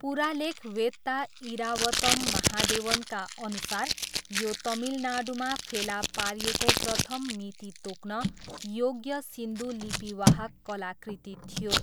पुरालेखवेत्ता इरावतम महादेवनका अनुसार, यो तमिलनाडुमा फेला पारिएको प्रथम मिति तोक्न योग्य सिन्धु लिपिवाहक कलाकृति थियो।